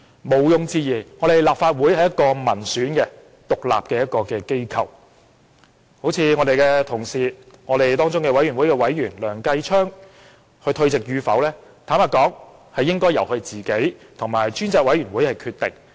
毋庸置疑，立法會是一個民選的獨立機構，我們的同事、專責委員會的委員梁繼昌議員退席與否，應該由他本人與專責委員會決定。